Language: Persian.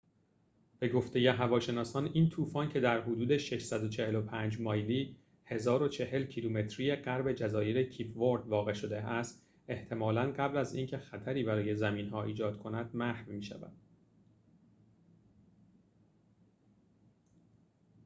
به گفته هواشناسان، این طوفان، که در حدود 645 مایلی 1040 کیلومتری غرب جزایر کیپ ورد واقع شده است، احتمالاً قبل از اینکه خطری برای زمین‌ها ایجاد کند محو می‌شود